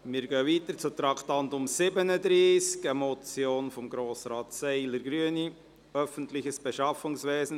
Wir fahren weiter und kommen zum Traktandum 37, einer Motion von Grossrat Seiler, Grüne: «Öffentliches Beschaffungswesen.